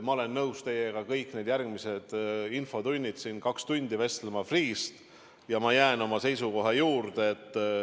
Ma olen nõus teiega kõik need järgmised infotunnid siin kaks tundi Freeh'st vestlema, aga ma jään oma seisukoha juurde.